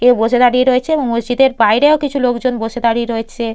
কেউ বসে দাঁড়িয়ে রয়েছে এবং মসজিদের বাইরেও কিছু লোকজন বসে দাঁড়িয়ে রয়েছে।